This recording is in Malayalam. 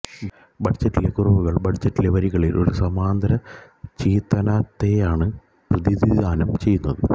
ബജറ്റിലെ കുറവുകൾ ബജറ്റിലെ വരികളിൽ ഒരു സമാന്തര ചിത്തനത്തെയാണ് പ്രതിനിധാനം ചെയ്യുന്നത്